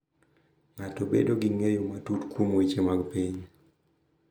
Ng’ato bedo gi ng’eyo matut kuom weche mag piny.